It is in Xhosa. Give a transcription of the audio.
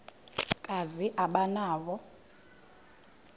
kazi aba nawo